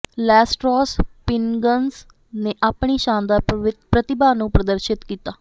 ਲੈਸ Trois Pingouins ਨੇ ਆਪਣੀ ਸ਼ਾਨਦਾਰ ਪ੍ਰਤਿਭਾ ਨੂੰ ਪ੍ਰਦਰਸ਼ਿਤ ਕੀਤਾ